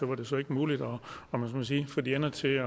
var det så ikke muligt om man så må sige at få de ender til